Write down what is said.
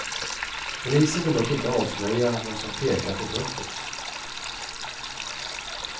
Polisen vill dock inte avslöja vad som pekar på brottet.